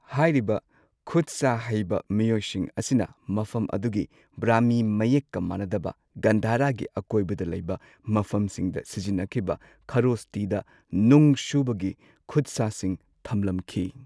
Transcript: ꯍꯥꯏꯔꯤꯕ ꯈꯨꯠ ꯁꯥ ꯍꯩꯕ ꯃꯤꯑꯣꯏꯁꯤꯡ ꯑꯁꯤꯅ ꯃꯐꯝ ꯑꯗꯨꯒꯤ ꯕ꯭ꯔꯍꯃꯤ ꯃꯌꯦꯛꯀ ꯃꯥꯟꯅꯗꯕ, ꯒꯟꯙꯔꯥꯒꯤ ꯑꯀꯣꯏꯕꯗ ꯂꯩꯕ ꯃꯐꯝꯁꯤꯡꯗ ꯁꯤꯖꯤꯟꯅꯈꯤꯕ ꯈꯥꯔꯣꯁꯇꯤꯗ ꯅꯨꯡ ꯁꯨꯕꯒꯤ ꯈꯨꯠꯁꯥꯁꯤꯡ ꯊꯝꯂꯝꯈꯤ꯫